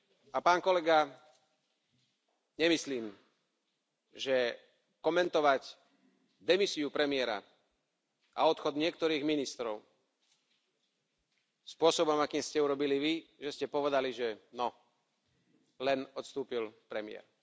A pán kolega, nemyslím, že komentovať demisiu premiéra a odchod niektorých ministrov spôsobom, akým ste to urobili Vy, že ste povedali, že No, len odstúpil premiér.